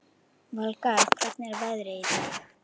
Valgarð, hvernig er veðrið í dag?